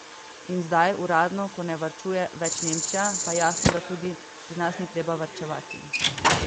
In zdaj, uradno, ko ne varčuje več Nemčija, pa jasno, da tudi pri nas ni treba varčevati.